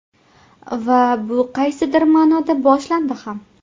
Va bu qaysidir ma’noda boshlandi ham.